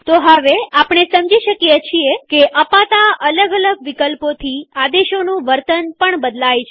તો હવેઆપણે સમજી શકીએ છીએ કે અપાતા અલગ અલગ વિકલ્પોથી આદેશોનું વર્તન પણ બદલાય છે